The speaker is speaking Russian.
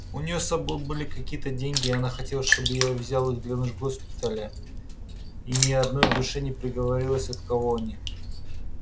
у нее с собой были какие-то деньги и она хотела чтобы я взяла их для нужд госпиталя и ни одной душе не проговорилась от кого они